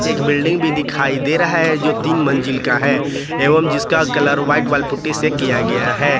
एक बिल्डिंग भी दिखाई दे रहा है जो तीन मंजिल का है एवं जिसका कलर व्हाइट वाल पुट्टी से किया गया है।